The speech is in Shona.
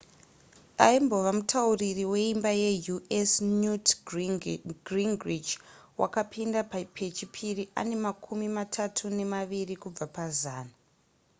aimbova mutauriri weimba yeus newt gingrich wakapinda pechipiri ane makumi matatu nemaviri kubva pazana